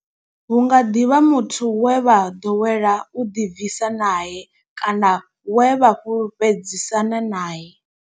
Hu nga ḓi vha muthu we vha ḓowela u ḓibvisa nae kana we vha fhulufhedzisana nae.